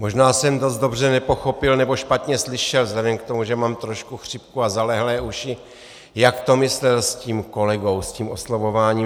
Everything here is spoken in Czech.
Možná jsem dost dobře nepochopil, nebo špatně slyšel vzhledem k tomu, že mám trošku chřipku a zalehlé uši, jak to myslel s tím kolegou, s tím oslovováním.